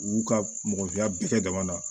U y'u ka mɔgɔninfinya bɛɛ kɛ dama na